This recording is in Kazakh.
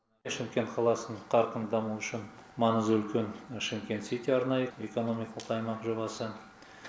шымкент қаласын қарқынды даму үшін маңызы үлкен шымкент сити арнайы экономикалық аймақ жобасы